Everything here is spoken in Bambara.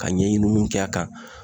Ka ɲɛɲiniw kɛ a kan.